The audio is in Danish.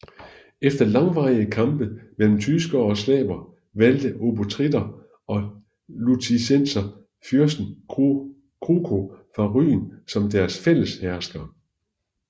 Efter langvarige kampe mellem tyskere og slaver valgte obotritter og lutitser fyrsten Kruko fra Rügen som deres fælles hersker